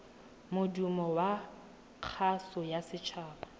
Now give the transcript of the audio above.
modumo wa kgaso ya setshaba